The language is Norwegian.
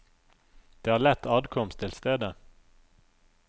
Det er lett adkomst til stedet.